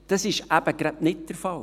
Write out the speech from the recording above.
» Das ist eben gerade nicht der Fall.